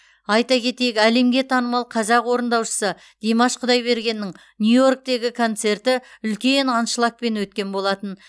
айта кетейік әлемге танымал қазақ орындаушысы димаш құдайбергеннің нью йорктегі концерті үлкен аншлагпен өткен болатын